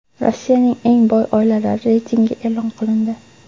Rossiyaning eng boy oilalari reytingi e’lon qilindi.